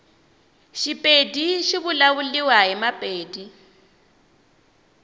shipedi shivulavuliwa himapedi